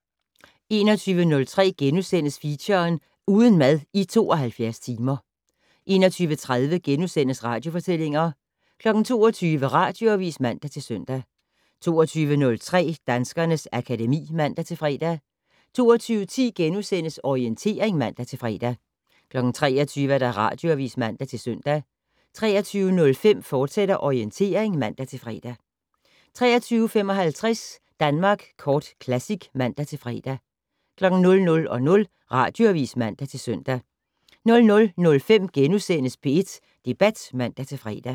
21:03: Feature: Uden mad i 72 timer * 21:30: Radiofortællinger * 22:00: Radioavis (man-søn) 22:03: Danskernes akademi (man-fre) 22:10: Orientering *(man-fre) 23:00: Radioavis (man-søn) 23:05: Orientering, fortsat (man-fre) 23:55: Danmark Kort Classic (man-fre) 00:00: Radioavis (man-søn) 00:05: P1 Debat *(man-fre)